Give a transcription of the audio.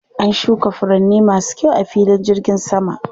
An shuka furanni masu kyau a filin jirgin saman.